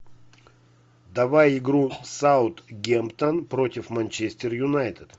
давай игру саутгемптон против манчестер юнайтед